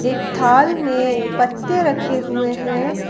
एक थाल में पत्ते रखे हुए हैं।